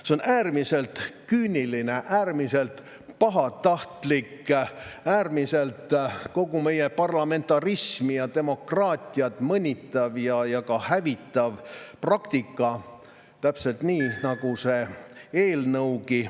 See on äärmiselt küüniline, äärmiselt pahatahtlik, äärmiselt kogu meie parlamentarismi ja demokraatiat mõnitav ja ka hävitav praktika, täpselt nii, nagu kogu see eelnõugi on.